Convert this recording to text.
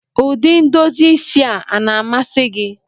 Ụdị ndozi isi a na-amasị gị?